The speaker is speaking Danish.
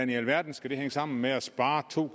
i alverden skal det hænge sammen med at spare to